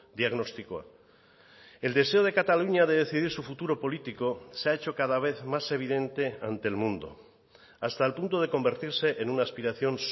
diagnostikoa el deseo de cataluña de decidir su futuro político se ha hecho cada vez más evidente ante el mundo hasta el punto de convertirse en una aspiración